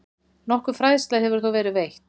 Nokkur fræðsla hefur þó verið veitt.